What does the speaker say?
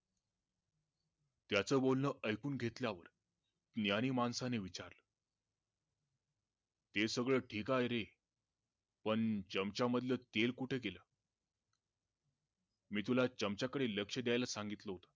त्याचं बोलण ऐकून घेतल्यावर ज्ञानी माणसांने विचारलं हे सगळ ठीक आहे रे पण चमच्या मधलं तेल कुठं गेलं? मी तुला चमच्या कडे लक्ष द्याला सांगिल होत